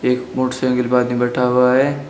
एक मोटरसाइकिल पर आदमी बैठा हुआ है।